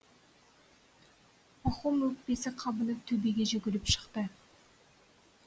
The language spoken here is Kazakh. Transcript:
пахом өкпесі қабынып төбеге жүгіріп шықты